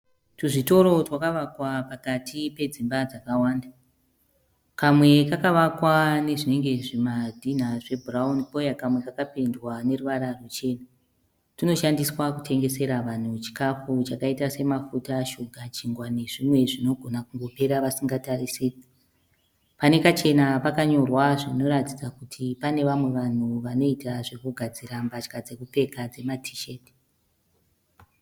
Tuzvitoro twakavakwa pakati pedzimba dzakawanda. Kamwe kakavakwa nezvinenge zvimadhinha zvebhurauni pouya kamwe kapendwa neruvara ruchena. Tunoshandiswa kutengesera vanhu chikafu chakaita semafuta shuga chingwa nezvimwe zvinogona kungopera vasingatarisiri. Pane kachena pakanyorwa zvinoratidza kuti pane vamwe vanhu vanoita zvekugadzira mbatya dzekupfeka dzemaT sheti